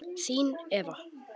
Þín Eva.